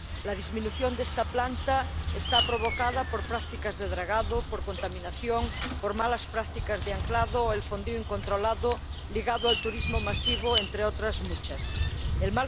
La disminución de esta planta está provocada por prácticas de dragado, por contaminación, por malas prácticas de anclado o por el fondeo incontrolado ligado al turismo masivo, entre otras muchas razones.